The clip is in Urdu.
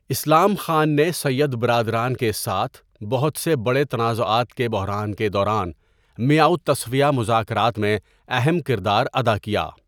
اسلام خان نے سید برادران کے ساتھ بہت سے بڑے تنازعات کے بحران کے دوران میٱ تصفیہ مذاکرات میں اہم کردار ادا کیا.